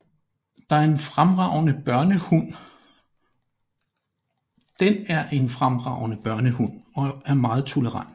Den er en fremragende børnehund og er meget tolerant